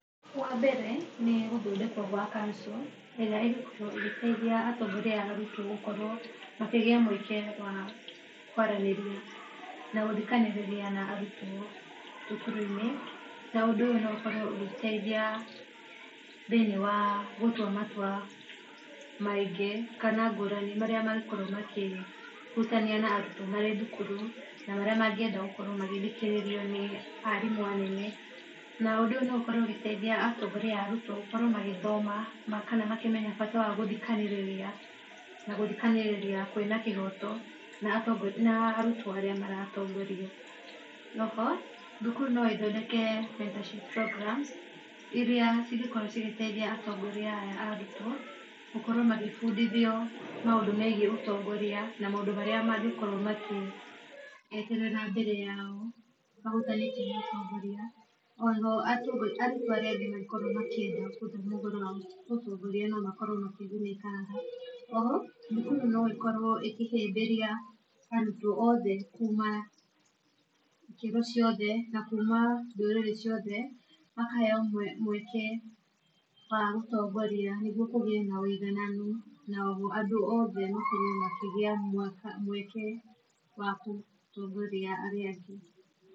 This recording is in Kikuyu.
Wa mbere ni guthondekwo gwa council iria igukorwo igiteithia atongoria aya arutwo gukorwo makigia mueke wa kwaraniria na guthikaniriria na arutwo thukuruini. Na ũndũ uyu ukorwo ugiteithia thiini wa gutua matua maingi kana ngurani maria mangikorwo makihutania na arutwo mari thukuru na maria mangienda gukorwo magithikiririo ni arimu anene. Naundu uyu no ukorwo ugitethia atongoria a arutwo gukorwo magithoma kana makimenya bata wa guthikaniriria na guthinaniriria kwina kihoto na arutwo aria maratongoria